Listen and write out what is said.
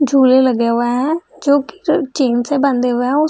झूले लगे हुए हैं जो चेन से बंधे हुए हैं उस --